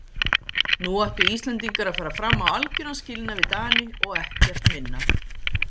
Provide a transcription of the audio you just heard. Nú ættu Íslendingar að fara fram á algjöran skilnað við Dani og ekkert minna.